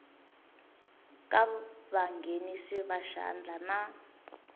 ka vanghenisi va xandla na